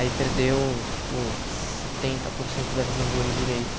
Aí perdeu, tipo, setenta por cento da visão do olho direito.